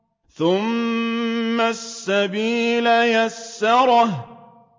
ثُمَّ السَّبِيلَ يَسَّرَهُ